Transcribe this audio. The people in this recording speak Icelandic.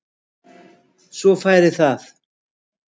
Svo færi það.